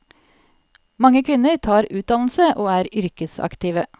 Mange kvinner tar utdannelse og er yrkesaktive.